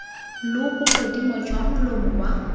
lo bogodimo jwa molomo wa